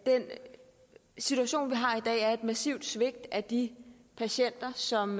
situation vi har i dag er et massivt svigt af de patienter som